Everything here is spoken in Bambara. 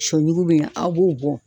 Sɔyugu bɛ ɲan , aw b'o bɔ.